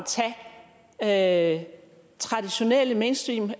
tage traditionelle mainstream